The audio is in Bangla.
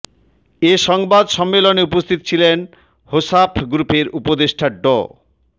এ সংবাদ সম্মেলনে উপস্থিত ছিলেন হোসাফ গ্রুপের উপদেষ্ট ড